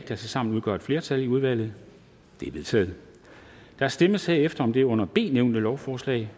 der tilsammen udgør et flertal i udvalget det er vedtaget der stemmes herefter om det under b nævnte lovforslag